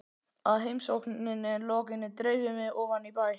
Að heimsókninni lokinni dreif ég mig ofan í bæ.